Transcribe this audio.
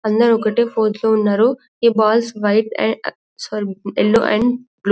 అందరు ఒకే ఫోజ్ లో ఉన్నారు ఈ balls white and sorry yellow and blue --